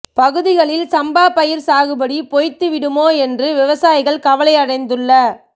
பகுதிகளில் சம்பா பயிர் சாகுபடி பொய்த்து விடுமோ என்று விவசாயிகள் கவலை அடைந்துள்ள